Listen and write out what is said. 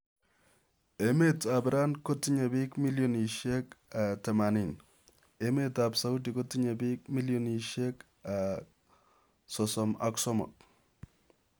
Emet ap iran kotinyee pik milionisiek 80, emet ap saudi kotinyee piik milionisiek 33